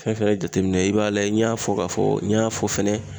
Fɛn fɛn ye jateminɛ ye i b'a lajɛ n y'a fɔ ka fɔ n y'a fɔ fɛnɛ